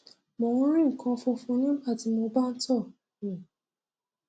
mo ń rí nǹkan fúnfun nígbà tí mo bá ń tọ um